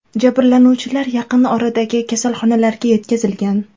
Jabrlanuvchilar yaqin oradagi kasalxonalarga yetkazilgan.